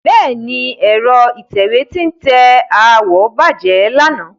Bẹ́ẹ̀ni, ẹ̀rọ ìtẹ̀wé tí ń tẹ àwọ̀ bàjẹ́ lánàá.